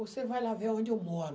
Você vai lá ver onde eu moro.